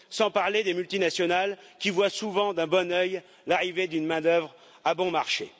Sans parler des multinationales qui voient souvent d'un bon œil l'arrivée d'une main d'œuvre à bon marché.